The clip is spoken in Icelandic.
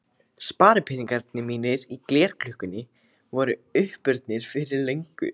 Sparipeningarnir mínir í glerkrukkunni voru uppurnir fyrir löngu.